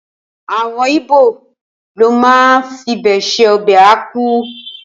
Awọn ibo lo ma fibe ṣe obe akwu